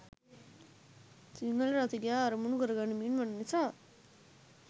සිංහල රසිකයා අරමුණු කරගනිමින් වන නිසා.